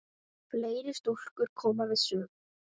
Fleiri stúlkur koma við sögu.